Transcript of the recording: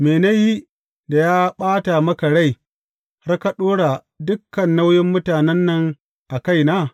Me na yi da ya ɓata maka rai har ka ɗora dukan nauyin mutanen nan a kaina?